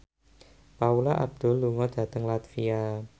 Paula Abdul lunga dhateng latvia